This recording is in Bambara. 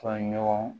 Ka ɲɔgɔn